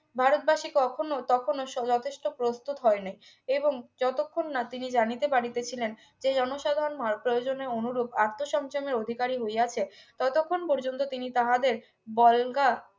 ভারতবাসী কখনো তখনো শো যথেষ্ট প্রস্তুত হয়নাই এবং যতক্ষণ না তিনি জানিতে পারিতে ছিলেন যে জনসাধারন মার্গ প্রয়োজনে অনুরূপ আত্মসংযম এর অধিকারী হইয়াছে ততক্ষণ পর্যন্ত তিনি তাহাদের বল্গা